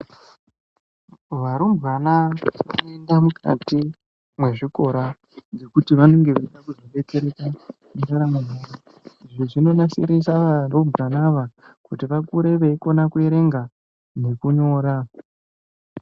Varumbwana vanopinda mukati mwezvikora ngekuti vanenge vechida kuzobetsereka mundamo yavo Izvi zvinonasirisa varumbwana ava kuti vakure veikona kuverenga ngekunyora.